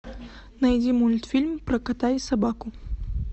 найди мультфильм про кота и собаку